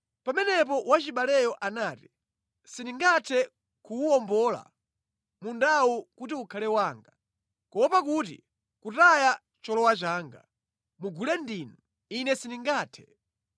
Pamenepo wachibaleyo anati, “Sindingathe kuwuwombola mundawu kuti ukhale wanga, kuopa kuti kutaya cholowa changa. Mugule ndinu. Ine sindingathe.”